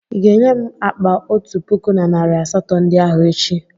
Ị ga-enye m akpa otu puku na narị asatọ ndị ahụ echi?